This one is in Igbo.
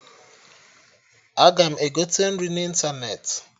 Aga m egote nri n'ịntanetị